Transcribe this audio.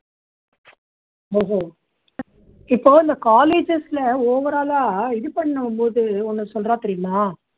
இப்போ இந்த colleges ல overall ஆ இது பண்ணும் போது ஒண்ணு சொல்றா தெரியுமா